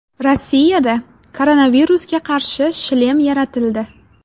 Rossiyada koronavirusga qarshi shlem yaratildi.